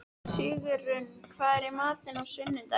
Sigurunn, hvað er í matinn á sunnudaginn?